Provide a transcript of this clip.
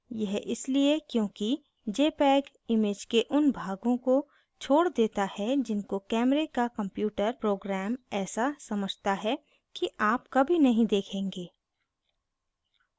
यह इसलिए क्योंकि jpeg image के उन भागों को छोड़ देता है जिनको camera का computer program ऐसा समझता है कि आप कभी नहीं देखेंगे